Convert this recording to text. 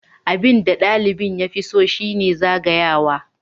Abin da ɗalibin ya fi so shi ne zagayawa.